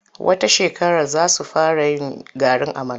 Wata shekarar za su fara yin garin amala.